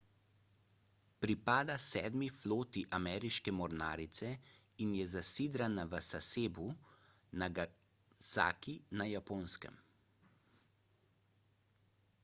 pripada sedmi floti ameriške mornarice in je zasidrana v sasebu nagasaki na japonskem